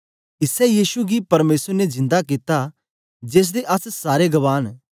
इसै यीशु गी परमेसर ने जिंदा कित्ता जेसदे अस सारे गवाह न